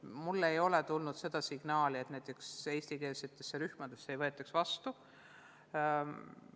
Mulle ei ole tulnud signaali, et eestikeelsetesse rühmadesse ei võeta vastu.